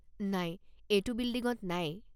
নাই, এইটো বিল্ডিঙত নাই।